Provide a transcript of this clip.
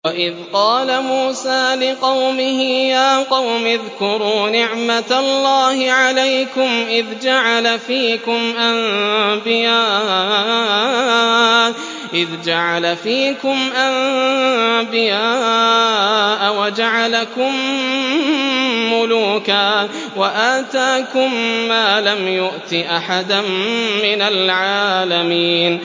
وَإِذْ قَالَ مُوسَىٰ لِقَوْمِهِ يَا قَوْمِ اذْكُرُوا نِعْمَةَ اللَّهِ عَلَيْكُمْ إِذْ جَعَلَ فِيكُمْ أَنبِيَاءَ وَجَعَلَكُم مُّلُوكًا وَآتَاكُم مَّا لَمْ يُؤْتِ أَحَدًا مِّنَ الْعَالَمِينَ